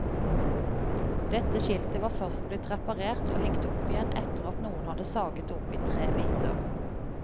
Dette skiltet var først blitt reparert og hengt opp igjen etter at noen hadde saget det opp i tre biter.